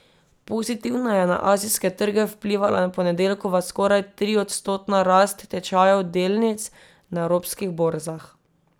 Pozitivno je na azijske trge vplivala ponedeljkova skoraj triodstotna rast tečajev delnic na evropskih borzah.